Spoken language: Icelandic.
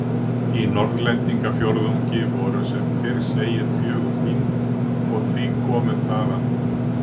Í Norðlendingafjórðungi voru sem fyrr segir fjögur þing, og því komu þaðan